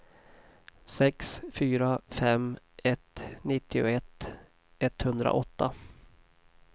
sex fyra fem ett nittioett etthundraåtta